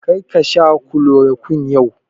Kar ka sha kulorokwin yau!